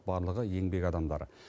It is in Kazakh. барлығы еңбек адамдары